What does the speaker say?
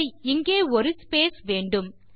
சரி இங்கே ஒரு ஸ்பேஸ் வேண்டும்